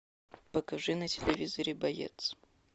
покажи на телевизоре боец